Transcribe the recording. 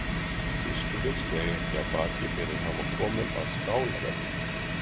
Biskupinn steig ekki af baki fyrr en hann var kominn að skálaveggnum.